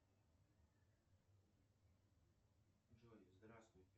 джой здравствуйте